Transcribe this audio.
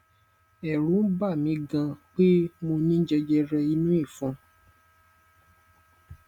ẹrù n bà mi gan pé mo ní jẹjẹrẹ inú ìfun